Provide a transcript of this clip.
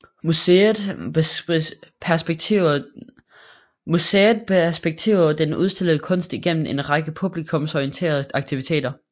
Museet perspektiverer den udstillede kunst igennem en række publikumsorienterede aktiviteter